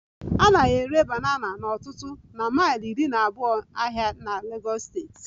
A na-ere banana n'ọtụtụ na mile iri na abuo ahịa na Legos steeti